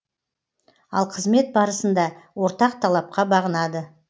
ал қызмет барысында ортақ талапқа бағынады